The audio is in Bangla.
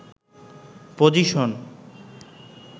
পজিশন